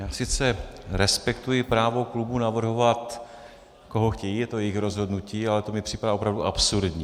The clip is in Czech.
Já sice respektuji právo klubu navrhovat, koho chtějí, je to jejich rozhodnutí, ale to mi připadá opravdu absurdní.